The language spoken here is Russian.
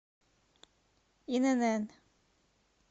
инн